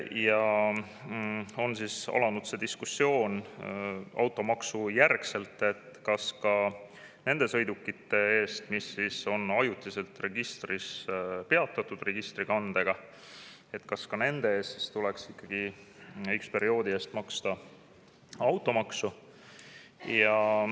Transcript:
Automaksu tõttu on alanud diskussioon, kas ka nende sõidukite eest, mis on registris ajutiselt peatatud kandega, tuleks ikkagi maksta automaksu.